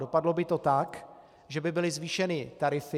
Dopadlo by to tak, že by byly zvýšeny tarify.